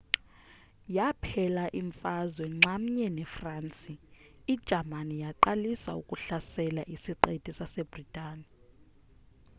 yakuphela imfazwe nxamnye nefransi ijamani yaqalisa ukuhlasela isiqithi sasebritane